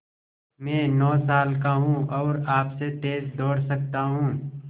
मैं नौ साल का हूँ और आपसे तेज़ दौड़ सकता हूँ